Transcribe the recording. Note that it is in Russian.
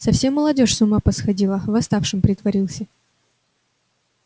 совсем молодёжь с ума посходила восставшим притворился